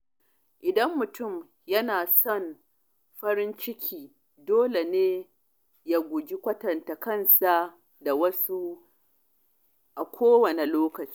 Idan mutum yana son farin ciki, dole ne ya guji kwatanta kansa da wasu a kowanne lokaci.